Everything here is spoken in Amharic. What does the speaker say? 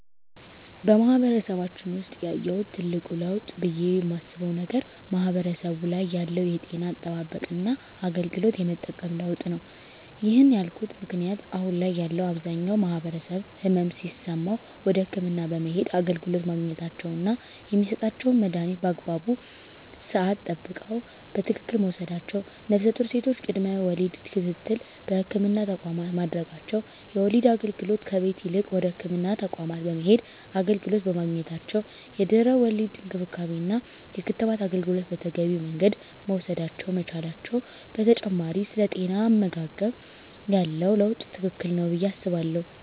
በማህበረሰባችን ውሰጥ ያየሁት ትልቅ ለውጥ ብየ የማስበው ነገር ማህበረሰቡ ላይ ያለው የጤና አጠባበቅና አገልግሎት የመጠቀም ለውጥ ነው። ይህን ያልኩበት ምክንያት አሁን ላይ ያለው አብዛኛው ማህበረሰብ ህመም ሲሰማው ወደ ህክምና በመሄድ አገልግሎት ማግኘታቸውና የሚሰጣቸውን መድሀኒት በአግባቡ ስዓት ጠብቀው በትክክል መውሰዳቸው ነፍሰጡር ሴቶች ቅድመ ወሊድ ክትትል በህክምና ተቋማት ማድረጋቸው የወሊድ አገልግሎት ከቤት ይልቅ ወደ ህክምና ተቋማት በመሄድ አገልግሎት በማግኘታቸው የድህረ ወሊድ እንክብካቤና የክትባት አገልግሎት በተገቢው መንገድ መውሰድ መቻላቸው በተጨማሪ ስለ ጤናማ አመጋገብ ያለው ለውጥ ትልቅ ነው ብየ አስባለሁ።